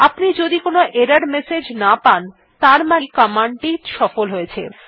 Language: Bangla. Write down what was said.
আপনি যদি কোনো এরর মেসেজ না পান ত়ার মানেই কমান্ড টি সফল হয়েছে